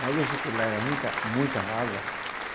Mas dizem que lá era muita, muita água.